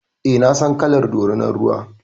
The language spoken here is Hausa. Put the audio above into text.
Eh, na san kalar dorinan ruwa.